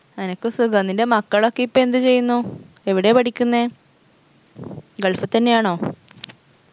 അനക്ക് സുഖം നിൻറെ മക്കളൊക്കെ ഇപ്പെന്ത് ചെയ്യുന്നു എവിടെയാ പഠിക്കുന്നെ gulf തന്നെയാണോ